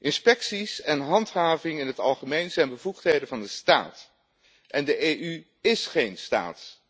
Inspecties en handhaving in het algemeen zijn bevoegdheden van de staat en de EU is geen staat.